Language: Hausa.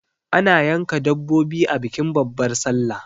ana yanka dabbobi a bikin babbar sallah